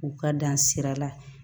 U ka dan sira la